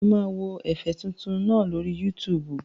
Mo máa wo ẹ̀fẹ̀ tuntun náà lórí Yútùùbù